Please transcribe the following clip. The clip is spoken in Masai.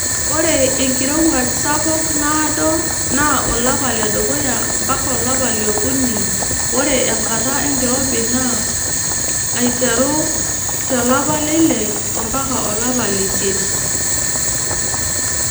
Ore enkirowuaj sapuk naado naa olapa ledukuya mpaka olapa liokuni ore enkata enkirobi naado naa keiteru to lapa leile mpaka olapa leisiet.